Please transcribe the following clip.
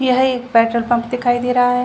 यही एक petrol pump दिखाई दे रहा है।